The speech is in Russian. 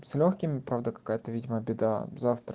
с лёгкими правда какая-то видимо беда завтра